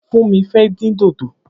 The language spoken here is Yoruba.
Funmi fè din dódó